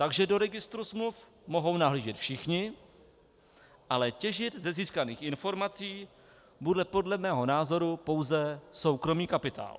Takže do registru smluv mohou nahlížet všichni, ale těžit ze získaných informací bude podle mého názoru pouze soukromý kapitál.